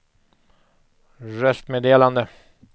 röstmeddelande